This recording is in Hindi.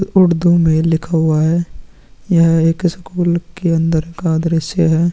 उर्दू में लिखा हुआ है यह एक स्कूल के अन्दर का दृश्य हैं ।